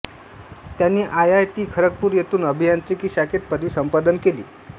त्यांनी I I T Kharagpur येथून अभियांत्रिकी शाखेत पदवी संपादन केली